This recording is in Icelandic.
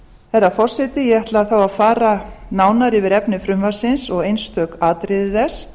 herra forseti ég ætla þá að fara nánar yfir efni frumvarpsins og einstök atriði þess